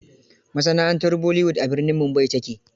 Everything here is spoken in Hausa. Masana'antar Bollywood a birnin Mumbai ta ke.